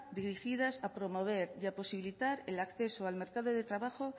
dirigidas a promover y posibilitar el acceso al mercado de trabajo